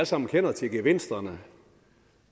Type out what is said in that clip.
sammen kender til gevinsterne